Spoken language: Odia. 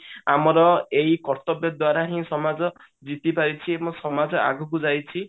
ଆମର ଏଇ କର୍ତ୍ତବ୍ୟ ଦ୍ଵାରା ହିଁ ସମାଜ ଜିତି ପାରିଛି ଏବଂ ସମାଜ ଆଗକୁ ଯାଇଛି